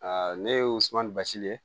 ne ye wsuma ni basi ye